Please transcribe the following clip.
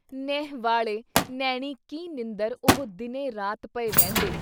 ਨੇਹੁੰ ਵਾਲੇ ਨੈਣੀ ਕੀ ਨੀਂਦਰ ਉਹ ਦਿਨੇ ਰਾਤ ਪਏ ਵਹਿੰਦੇ।